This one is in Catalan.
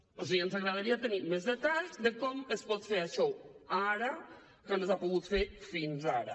o sigui ens agradaria tenir més detalls de com es pot fer això ara que no s’ha pogut fer fins ara